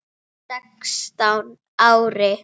Sextán ára?